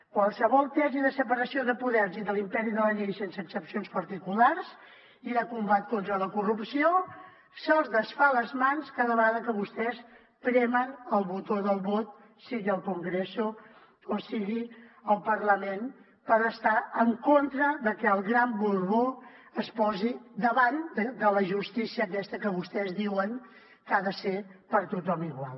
qualsevol tesi de separació de poders i de l’imperi de la llei sense excepcions particulars i de combat contra la corrupció se’ls desfà a les mans cada vegada que vostès premen el botó del vot sigui al congreso o sigui al parlament pel fet d’estar en contra de que el gran borbó es posi davant de la justícia aquesta que vostès diuen que ha de ser per a tothom igual